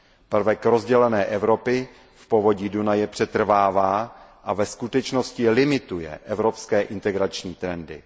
Prvek rozdělené Evropy v povodí Dunaje přetrvává a ve skutečnosti limituje evropské integrační trendy.